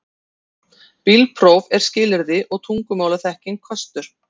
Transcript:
Bílpróf er skilyrði og tungumálaþekking kostur